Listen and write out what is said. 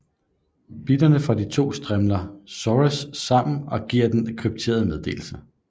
Bitene fra de to strimler XORes sammen og giver den krypterede meddelelse